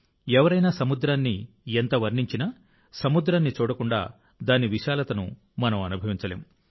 ఎవరైనా సముద్రాన్ని ఎంత వర్ణించినా సముద్రాన్ని చూడకుండా దాని విశాలతను మనం అనుభవించలేం